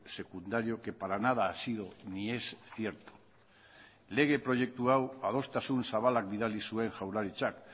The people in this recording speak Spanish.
secundario que para nada ha sido ni es cierto lege proiektu hau adostasun zabalak bidali zuen jaurlaritzak